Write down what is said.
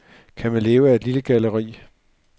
Kan man leve af et lille galleri?